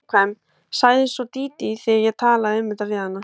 Hún er viðkvæm, sagði svo Dídí þegar ég talaði um þetta við hana.